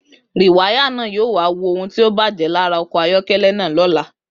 Rìwáyà náà yóò wá wo ohun tí ó bàjé lára okò ayókélé náà lóla